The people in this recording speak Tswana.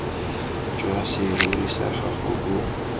jwa serori sa gago bo